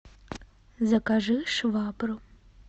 закажи швабру